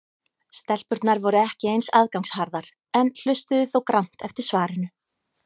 Stelpurnar voru ekki eins aðgangsharðar en hlustuðu þó grannt eftir svarinu.